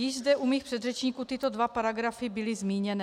Již zde u mých předřečníků tyto dva paragrafy byly zmíněny.